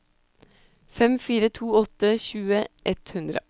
fem fire to åtte tjue ett hundre